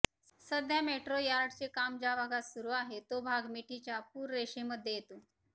सध्या मेट्रो यार्डचे काम ज्या भागात सुरू आहे तो भाग मिठीच्या पूररेषेमध्ये येतो